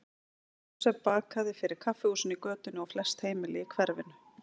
Jósef bakaði fyrir kaffihúsin í götunni og flest heimili í hverfinu.